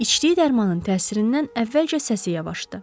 İçdiyi dərmanın təsirindən əvvəlcə səsi yavaşdı.